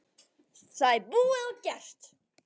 Það er búið og gert!